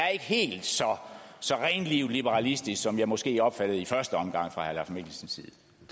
helt liberalistisk som jeg måske opfattede det i første omgang fra herre mikkelsens